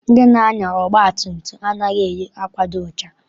Ndị na-anya ọgba tum tum a naghị eyi akwa dị ọcha.